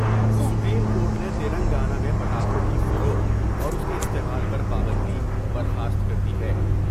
Supreme court نے تلنگانہ میں پٹاخوں کی فروخت اور اس کے استعمال پر پابندی برخاست کر دی ہے ۔